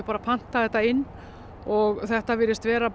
panta þetta inn og þetta virðist vera